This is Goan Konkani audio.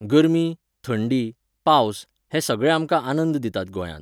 गर्मी, थंडी, पावस हे सगळे आमकां आनंद दितात गोंयांत.